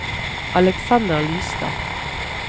Aleksander Lystad